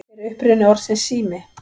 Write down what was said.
Hver er uppruni orðsins sími?